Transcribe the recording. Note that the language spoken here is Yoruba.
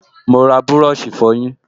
Mo ra búrọ̀ṣì ìfọyín